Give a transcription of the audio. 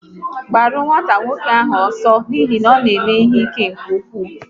Gbaru nwata nwoke ahụ ọsọ, ọ na eme ihe ike nke ụkwụ!